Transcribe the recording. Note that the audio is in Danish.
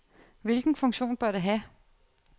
Hvilken funktion bør det have?